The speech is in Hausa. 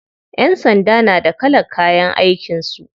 Ƴan sanda na da kalan kayan aikin su.